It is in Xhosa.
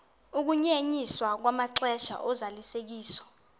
ukunyenyiswa kwamaxesha ozalisekiso